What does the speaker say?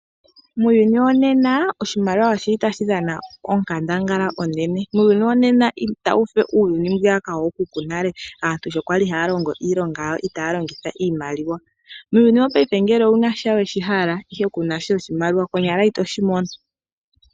Muuyuni wonena oshimaliwa oshili tashi dhana onkandangala onene. Muuyuni wonena ita wufe uuyuni wookuku yonale aantu shi yali haalongo iilonga yawo itaalongitha iimaliwa, muuyuni wo payife ngele owu nasha shoka weshi hale ndele kuna iimaliwa nena ito shimono.